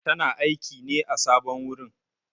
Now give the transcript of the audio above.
Tana aiƙi ne a sabon wurin.